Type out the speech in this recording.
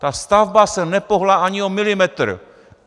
Ta stavba se nepohnula ani o milimetr!